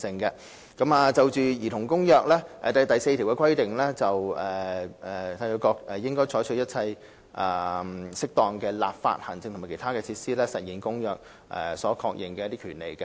《兒童權利公約》第4條規定："締約國應採取一切適當的立法、行政和其他措施以實現本公約所確認的權利。